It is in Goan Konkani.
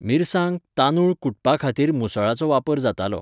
मिरसांग, तांदूळ कुटपा खातीर मुसळाचो वापर जातालो.